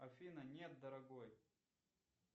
афина нет дорогой